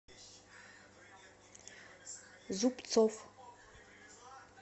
зубцов